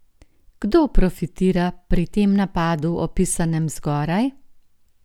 Kdo profitira pri tem napadu opisanem zgoraj?